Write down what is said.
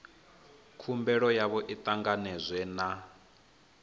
khumbelo yavho i ṱanganedzwe na